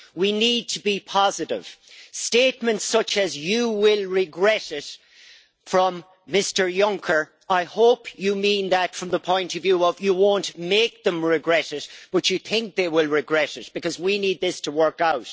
We need to be positive. Statements such as you will regret it' from Mr Juncker, I hope you mean that from the point of view of you won't make them regret it, but you think they will regret it, because we need this to work out.